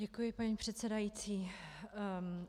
Děkuji, paní předsedající.